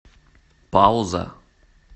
пауза